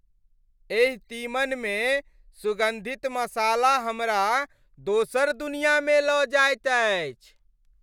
एहि तीमन मे सुगन्धित मसाला हमरा दोसर दुनियामे लऽ जाइत अछि।